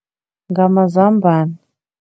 Ngamazambane.